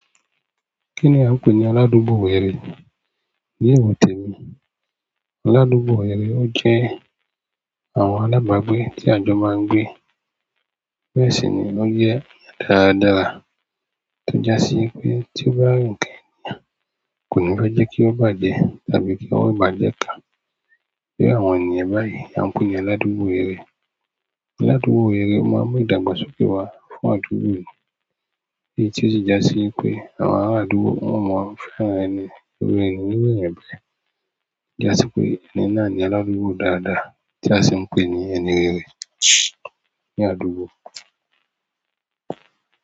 Kinni a n pe ni aladugbo ẹni. Ní iwo tèmi, aládùúgbò ẹni ọ jẹ́ àwọn alábàágbé tí àjọ máa ń gbé. Bẹ́ẹ̀ sí ni wọ́n jẹ́ dáradára tí jásí pé tí ọba rìn nkan ẹ́ni kò ní fe jẹ́ kí ó bá jẹ tàbí kí wọ́n bá jẹ ká. Bí àwọn ènìyen báyìí à ń pè ní aládùúgbò rèrè. Aládùúgbò rèrè o máa ń mu ìdàgbàsókè wá fún àdúgbò yìí tí i tí ó si jásí pé àwọn ará àdúgbò won máa ń fẹ́ràn ẹni rere nínú ènìyàn báyìí. Já sí pé ẹni náà ni aládùúgbò dáadáa tí a sì ń pè ní ẹni rere ní àdúgbò.